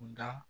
Nka